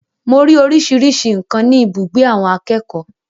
Mo ri oríṣiríṣi nǹkan ni ibùgbé àwọn akẹ́kọ̀ọ́.